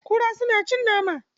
Kura suna cin nama.